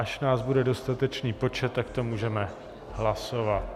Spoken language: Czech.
Až nás bude dostatečný počet, tak to můžeme hlasovat.